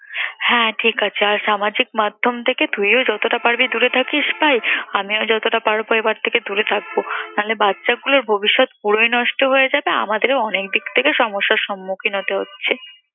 হ্যাঁ ঠিকাছে আর সামাজিক মাধ্যম থেকে তুইও যতটা পারবি দূরে থাকিস ভাই, আমিও যতটা পারব এবার থেকে দূরে থাকব। না হলে বাচ্চাগুলোর ভবিষ্যৎ পুরোই নষ্ট হয়ে যাবে, আমাদেরও অনেক দিক থেকে সমস্যার সম্মুখীন হতে হচ্ছে।